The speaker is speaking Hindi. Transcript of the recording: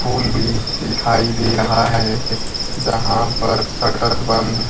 फूल भी दिखाई दे रहा है जहां पर शटर बंद--